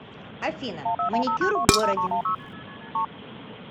афина маникюр в городе